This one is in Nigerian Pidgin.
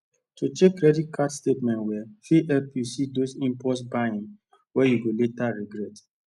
to check credit card statement well fit help you see those impulse buying wey you go later regret